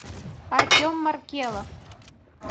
артем маркелов